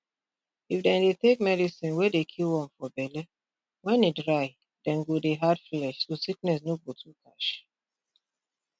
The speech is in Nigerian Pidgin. if dem dey take medicine wey dey kill worm for belle wen e dry dem go dey add flesh so sickness no go too catch